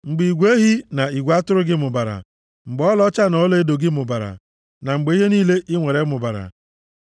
mgbe igwe ehi na igwe atụrụ gị mụbara, mgbe ọlaọcha na ọlaedo gị mụbara, na mgbe ihe niile i nwere mụbara.